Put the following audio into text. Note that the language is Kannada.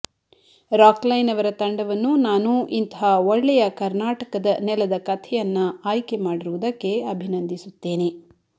ರಾಕ್ ಲೈನ್ ಅವರ ತಂಡವನ್ನು ನಾನು ಇಂತಹ ಒಳ್ಳೆಯ ಕರ್ನಾಟಕದ ನೆಲದ ಕಥೆಯನ್ನ ಆಯ್ಕೆ ಮಾಡಿರುವುದಕ್ಕೆ ಅಭಿನಂದಿಸುತ್ತೇನೆ